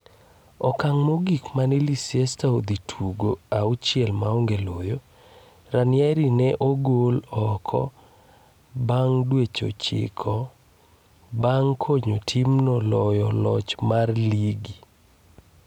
Okang' mogik mane Leicester odhi tugo auchiel maonge loyo, Ranieri ne ogole oko, bang' dweche 9 bang' konyo timno loyo loch mar ligi.